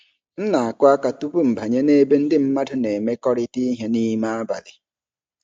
M na-akụ aka tupu m abanye nebe ndị mmadụ na-emekọrịta ihe nime abalị.